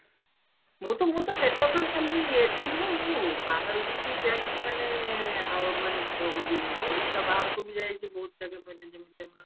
ମୁଁ ତ ମୁଁ ତ ସେଟା ବି ଖାଲି ଏଠି ନୁହଁ ମୁଁ ବାହାରୁ ବି ଯାଇଛି ମାନେ ଆଉ ମାନେ ବହୁତ ଓଡଇଶା ବାହାରକୁ ବି ଯାଇଛି ବହୁତ ଜାଗା ମାନେ ଯେମତି ଆମର